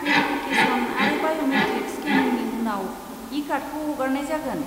Verification आरो biometric स्केनिंनि उनाव, इ कार्डखौ हगारनाय जागोन।